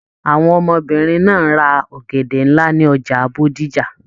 Àwọn ọmọbìnrin náà ra ọ̀gẹ̀dẹ̀ nlá ni ọjà Bódìjà.